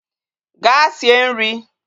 Gaa sie nrị!